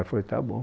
Eu falei, tá bom.